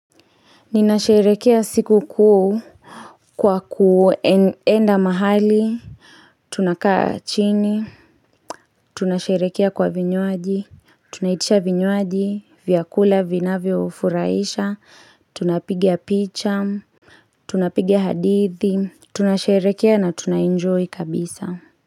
Ninasherekea siku kuu kwa kuenda mahali, tunakaa chini, tunasherekea kwa vinywaji, tunaitisha vinywaji, vyakula, vinavyo furaisha, tunapiga picha, tunapiga hadithi, tunasherekea na tunaenjoy kabisa.